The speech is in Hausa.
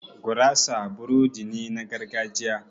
Gurasa burodi ne na gargajiya